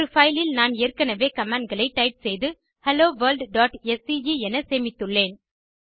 ஒரு பைல் இல் நான் ஏற்கெனெவே கமாண்ட் களை டைப் செய்து helloworldஸ்கே என சேமித்துள்ளேன்